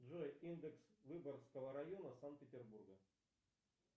джой индекс выборгского района санкт петербурга